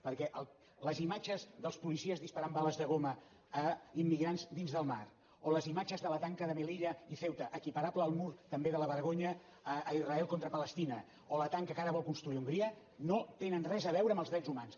perquè les imatges dels policies disparant bales de goma a immigrants dins del mar o les imatges de la tanca de melilla i ceuta equiparable al mur també de la vergonya a israel contra palestina o la tanca que ara vol construir hongria no tenen res a veure amb els drets humans